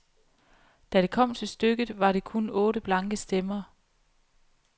Da det kom til stykket, var det kun otte blanke stemmer.